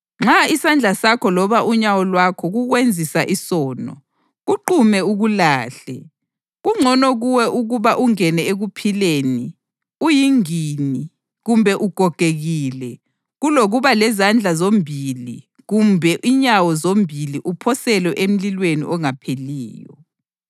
Nxa isandla sakho loba unyawo lwakho kukwenzisa isono, kuqume ukulahle. Kungcono kuwe ukuba ungene ekuphileni uyingini kumbe ugogekile kulokuba lezandla zombili kumbe inyawo zombili uphoselwe emlilweni ongapheliyo.